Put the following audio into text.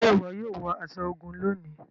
Ṣe iwọ yóò wọ aṣọ ogun lóni?